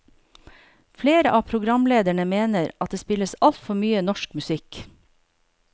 Flere av programlederne mener at det spilles altfor mye norsk musikk.